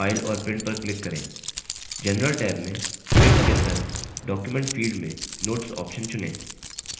general tab में print के अंदर document field में notes option चुनें